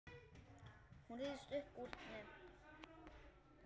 Hún ryðst upp úr henni.